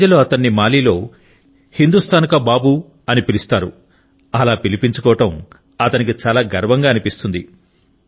ప్రజలు అతన్ని మాలిలో హిందూస్తాన్ కా బాబు అని పిలుస్తారు అల పిలిపించుకోవడం అతనికి చాలా గర్వంగా అనిపిస్తుంది